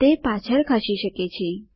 તે પાછળ ખસી શકે છે